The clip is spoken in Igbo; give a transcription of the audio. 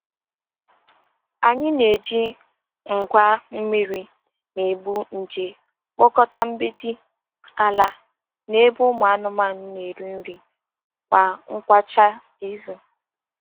Anyị na-eji ngwa mmiri na-egbu nje kpụkọta mgbidi, ala, na ebe ụmụ anụmanụ na-eri nri kwa ngwụcha izu.